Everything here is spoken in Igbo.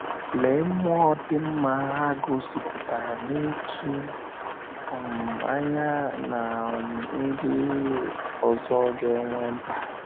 Lee mmụọ dị mma ha gosipụtara n’ịtụ um anya na um ndị um ọzọ ga - enwe mkpa!